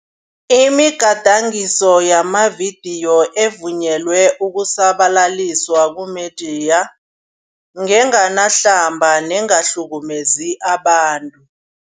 Imigadangiso yamavidiyo evunyelwe ukusabalaliswa kumediya, ngenganahlamba nengahlukumezi abantu.